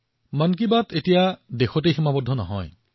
মন কী বাত এতিয়া ভাৰতৰ সীমাতেই সীমাবদ্ধ নহয়